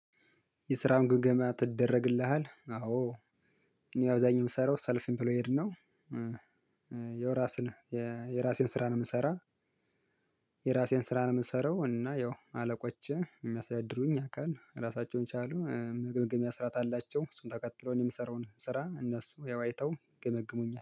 የስራውን ግምገማ ትደረግልሃል? አዎ እኔ አብዛኛው የምሰራው ሰልፍ ኢምፕሎይድ ነው። የራሴን የራሴን ስራ ነው የምሰራው። የራሴን ስራ ነው የምሰራው እና ያው አለቆቼ የሚያስተደድሩኝ አካል ራሳቸውን የቻሉ መግምገሚያ ስራአት አላቸው እሱን ተከትለው እኔ የምሰራውን ስራ እነሱ ያው አይተው ይገመግሙኝ